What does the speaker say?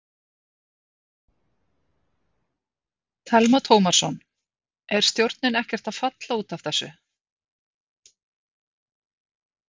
Telma Tómasson: Er stjórnin ekkert að falla út af þessu?